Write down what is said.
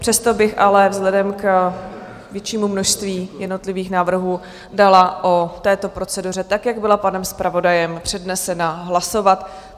Přesto bych ale vzhledem k většímu množství jednotlivých návrhů dala o této proceduře tak, jak byla panem zpravodajem přednesena, hlasovat.